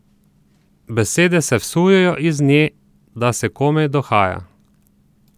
Besede se vsujejo iz nje, da se komaj dohaja.